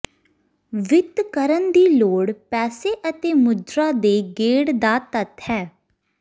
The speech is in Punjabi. ਵਿੱਤ ਕਰਨ ਦੀ ਲੋੜ ਪੈਸੇ ਅਤੇ ਮੁਦਰਾ ਦੇ ਗੇੜ ਦਾ ਤੱਤ ਹੈ